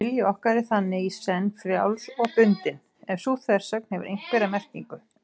Vilji okkar er þannig í senn frjáls og bundinn, ef sú þversögn hefur einhverja merkingu.